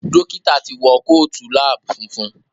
Dókítà tí wọ Kóòtù lab funfun.